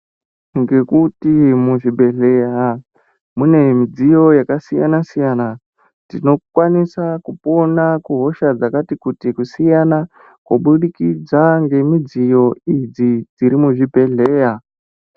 Ngekuti muzvibhedhleya mune midziyo yakasiyana-siyana , tinokwanisa kupona kuhosha dzakati kutii kusiyana kubudikidza ngemidziyo idzi dziri muzvibhedhleya.